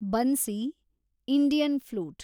bansi, Indian flute